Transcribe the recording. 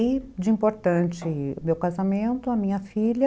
E, de importante, o meu casamento, a minha filha.